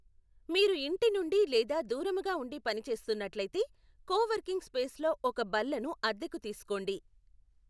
మీరు ఇంటి నుండి లేదా దూరముగా ఉండి పని చేస్తున్నట్లయితే కోవర్కింగ్ స్పేస్లో ఒక బల్లను అద్దెకు తీసుకోండి.